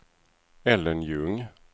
Ellen Ljung